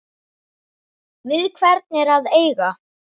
Við hvern er að eiga?